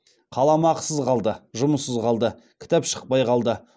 қаламақысыз қалды жұмыссыз қалды кітап шықпай қалды